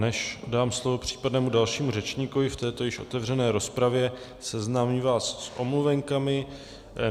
Než dám slovo případnému dalšímu řečníkovi v této již otevřené rozpravě, seznámím vás s omluvenkami.